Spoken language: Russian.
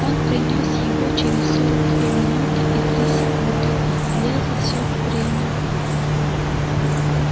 он принёс его через сорок две минуты и три секунды я засёк время